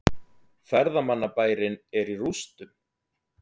Ferðamannabærinn er í rústum